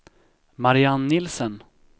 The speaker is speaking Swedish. Marianne Nielsen